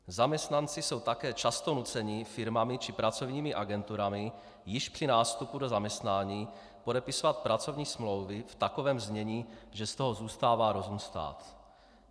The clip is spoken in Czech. Zaměstnanci jsou také často nuceni firmami či pracovními agenturami již při nástupu do zaměstnání podepisovat pracovní smlouvy v takovém znění, že z toho zůstává rozum stát.